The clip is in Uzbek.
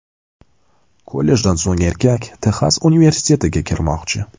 Kollejdan so‘ng erkak Texas universitetiga kirmoqchi.